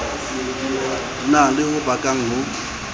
na le ho bakang ho